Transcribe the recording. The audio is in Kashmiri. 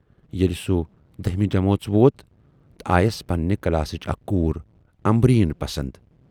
ییلہِ سُہ دٔہمہِ جمٲژ ووت تہٕ آیَس پنٕنہِ کلاسٕچ اکھ کوٗر"امبریٖنؔ" پَسند۔